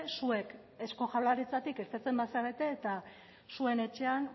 zuek eusko jaurlaritzatik irteten bazarete eta zuen etxean